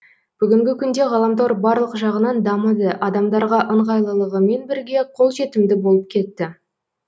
бүгінгі күнде ғаламтор барлық жағынан дамыды адамдарға ыңғайлылығымен бірге қолжетімді болып кетті